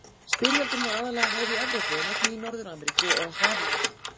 Styrjöldin var aðallega háð í Evrópu en einnig í Norður-Ameríku og á hafi úti.